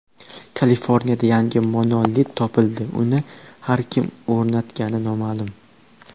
Kaliforniyada yangi monolit topildi uni ham kim o‘rnatgani noma’lum.